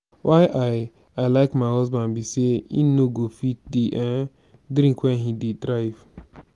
why i i like my husband be say he no go fit dey drink wen he dey drive